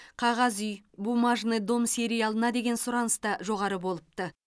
қағаз үй бумажный дом сериалына деген сұраныс та жоғары болыпты